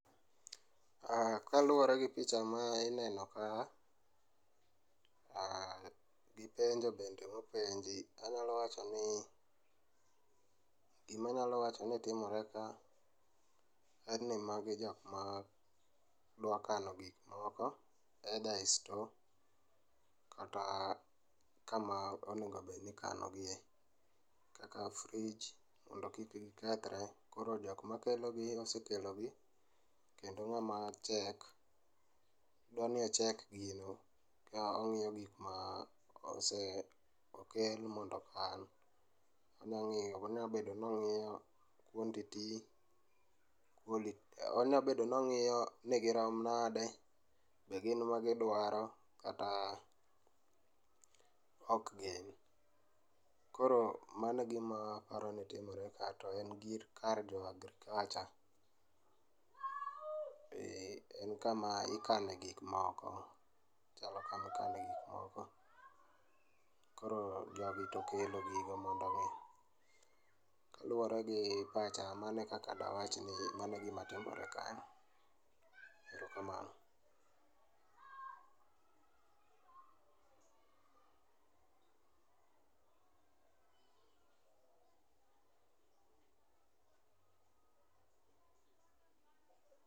Aaah, kaluore gi picha ma ineno ka, aah, gipenjo bende mopenji, anyalo wachoni gima anyalo wacho ni timore ka en ni magi jokma dwa kano gik moko either ei store kata kama onego obed ni ikano gie kaka fridge mondo kik gikethre. Koro jokma kelogi osekelo gi kendo ng'ama check dwani ocheck gino ka ong'iyo gikma ose, okel mondo okan. Onya ngiyo, onya bedo ni ongiyo quantity, quality, onya bedo ni ong'iyo ni girom nade, be gin magidwaro kata ok gin. Koro mano e gima aparoni timore ka to en gir, kar jo agriculture. Eeeh, en kama ikane gik moko ,ochalo kama ikane gik moko. Koro jogi to kelo gigo ma .Kaluore gi pacha, mano ekaka dawachi ni mano egima timore ka, erokamano